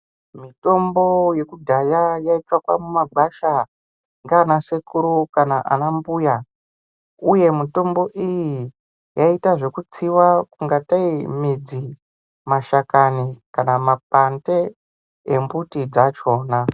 Mitombo yekudhaya yaitsvakwa mumagwasha ngaanasekuru kana anambuya uye mitombo iyi yaiita zvekutsiwa kungatei midzi, mashakani kana makwande embuti dzachona.